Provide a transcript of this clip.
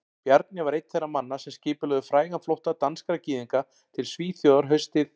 Bjarni var einn þeirra manna sem skipulögðu frægan flótta danskra gyðinga til Svíþjóðar haustið